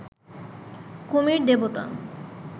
কুমির দেবতা